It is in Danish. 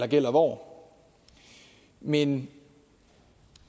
gælder hvor men